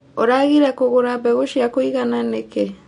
ũragire kũgũra mbegũ cia kũigana nĩkĩ.